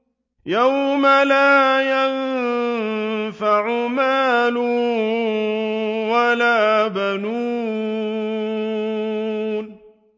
يَوْمَ لَا يَنفَعُ مَالٌ وَلَا بَنُونَ